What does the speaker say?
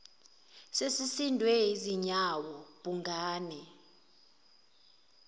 sesisindwe zinyawo bhungane